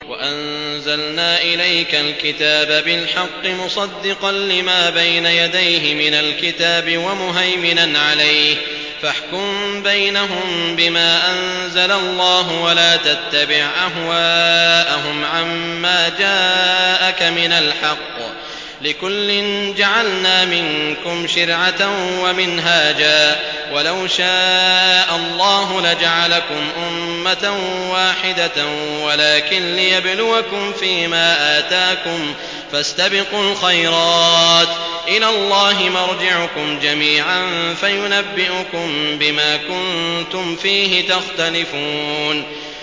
وَأَنزَلْنَا إِلَيْكَ الْكِتَابَ بِالْحَقِّ مُصَدِّقًا لِّمَا بَيْنَ يَدَيْهِ مِنَ الْكِتَابِ وَمُهَيْمِنًا عَلَيْهِ ۖ فَاحْكُم بَيْنَهُم بِمَا أَنزَلَ اللَّهُ ۖ وَلَا تَتَّبِعْ أَهْوَاءَهُمْ عَمَّا جَاءَكَ مِنَ الْحَقِّ ۚ لِكُلٍّ جَعَلْنَا مِنكُمْ شِرْعَةً وَمِنْهَاجًا ۚ وَلَوْ شَاءَ اللَّهُ لَجَعَلَكُمْ أُمَّةً وَاحِدَةً وَلَٰكِن لِّيَبْلُوَكُمْ فِي مَا آتَاكُمْ ۖ فَاسْتَبِقُوا الْخَيْرَاتِ ۚ إِلَى اللَّهِ مَرْجِعُكُمْ جَمِيعًا فَيُنَبِّئُكُم بِمَا كُنتُمْ فِيهِ تَخْتَلِفُونَ